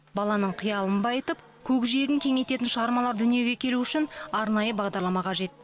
баланың қиялын байытып көкжиегін кеңейтетін шығармалар дүниеге келу үшін арнайы бағдарлама қажет